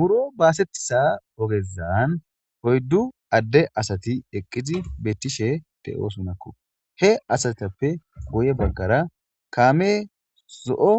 Buro baasetiza ogezan oyddu adde Asati eqqidi beettishe de7osonakko, he asatappe guye baggara kaame zo7o